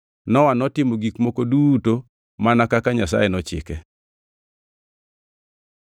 Nowa notimo gik moko duto mana kaka Nyasaye nochike.